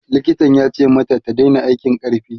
likitan yace mata ta Daina aikin ƙarfi